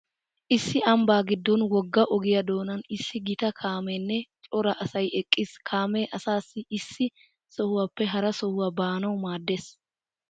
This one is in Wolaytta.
Issi ambbaa giddon wogga ogiya doonan issi gita kaameenne cora asay eqqiis. Kaamee asaa issi sohuwappe hara sohuwa baanawu maaddees.